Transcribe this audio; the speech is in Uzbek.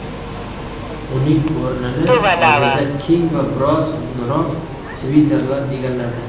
Uning o‘rnini hozirda keng va biroz uzunroq sviterlar egalladi.